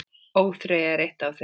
ÓÞREYJA er eitt af þeim.